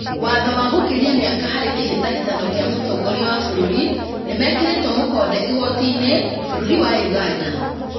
Watho wa gũkĩria mĩaka harĩ kĩhĩtahĩtano kĩa mũtongoria wa bũrũri nĩmekĩrĩtwo mũkonde igooti-inĩ bũrũri wa Ũganda